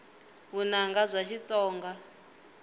vunanga bya xitsonga